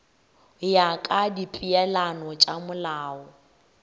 ya ka dipeelano tša molao